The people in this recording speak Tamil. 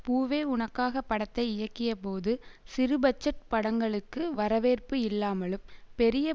பூவே உனக்காக படத்தை இயக்கியபோது சிறு பட்ஜெட் படங்களுக்கு வரவேற்பு இல்லாமலும்பெரிய